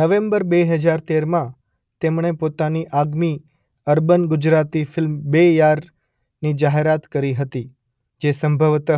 November બે હજાર તેરમાં તેમણે પોતાની આગામી અર્બન ગુજરાતી ફિલ્મ બે યારની જાહેરાત કરી હતી જે સંભવત: